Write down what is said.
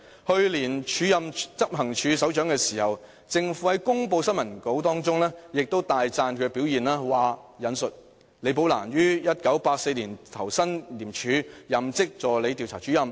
去年署任執行處首長時，政府在新聞稿中亦大讚其表現："李寶蘭於1984年投身廉署，任職助理調查主任。